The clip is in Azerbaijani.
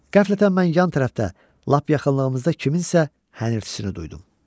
Qəflətən mən yan tərəfdə, lap yaxınlığımızda kimsənin hənirtisini duydum.